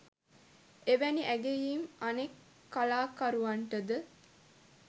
එවැනි ඇගයීම් අනෙක් කලාකරුවන්ටද